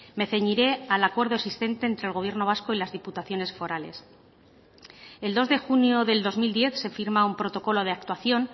me ceñiré al acuerdo existente entre el gobierno vasco y las diputaciones forales el dos de junio del dos mil diez se firma un protocolo de actuación